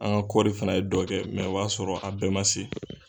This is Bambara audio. An ka kɔɔri fana ye dɔ kɛ, o b'a sɔrɔ a bɛɛ ma se.